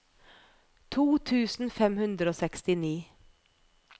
to tusen fem hundre og sekstini